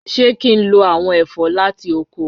Ṣe ki n lo awọn ẹfọ lati oko?